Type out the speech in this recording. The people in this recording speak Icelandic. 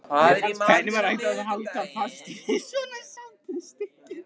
Hvernig var hægt að halda fast í svona sápustykki!